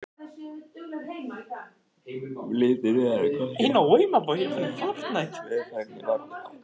litur viðar er hvorki háður veðurfari né jarðvegi